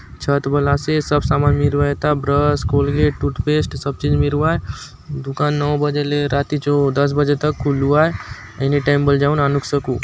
छत बले आसे सब समान मिरूआय एथा ब्रश कोलगेट टूथपेस्ट सब चीज मिरुआय दुकान नौ बजे ले राती चो दस बजे तक खुलु आय एनीटाइम बले जाऊंन आनुक शकु।